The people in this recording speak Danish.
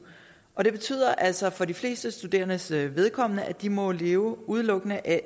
og det betyder altså for de fleste studerendes vedkommende at de må leve udelukkende af